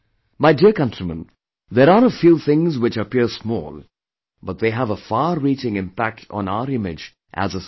My dear countrymen, there are a few things which appear small but they have a far reaching impact on our image as a society